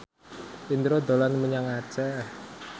Indro dolan menyang Aceh